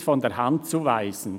] nicht von der Hand zu weisen.